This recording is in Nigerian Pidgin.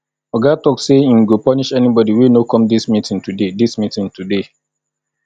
oga tok sey im go punish anybodi wey no come dis meeting today dis meeting today